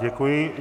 Děkuji.